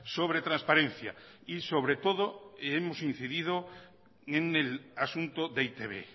sobre transparencia y sobre todo hemos incidido en el asunto de e i te be